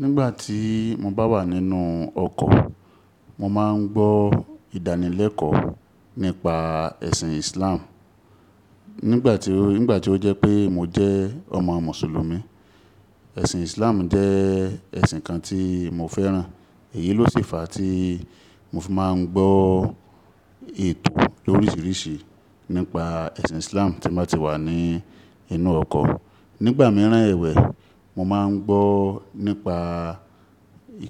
Nígbà tí mo bá wà nínú ọkọ̀, mo máa ń gbọ́ ìdánilẹ́kọ̀ọ́ nípa ẹ̀sìn Islam. Nígbà tí ó jẹ́ pé mo jẹ́ ọmọ Mùsùlùmí. Ẹ̀sìn Islam jẹ́ ẹ̀sìn kan tí mo fẹ́ràn. Èyí ló ṣe fa tí mo fi máa ń gbọ́ ètò l'oríṣiríṣi nípa ẹ̀sìn Islam tí mo bá ti wà ní inú ọkọ̀. Nígbà mìíràn ẹ̀wẹ̀, mo máa ń gbọ́ nípa